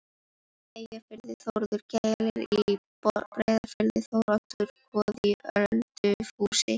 Eyjafirði, Þórður gellir í Breiðafirði, Þóroddur goði í Ölfusi.